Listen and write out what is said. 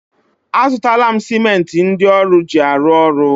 A zụtala m simenti ndị ọrụ ji arụ ọrụ.